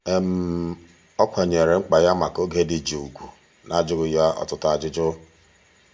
ọ kwanyeere mkpa ya maka oge dị jụụ ugwu n'ajụghị ya ọtụtụ ajụjụ.